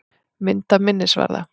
Mynd af minnisvarða.